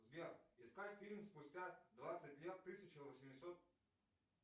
сбер искать фильм спустя двадцать лет тысяча восемьсот